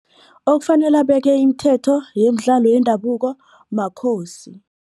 Okufanele abeke imithetho yeemdlalo yendabuko makhosi.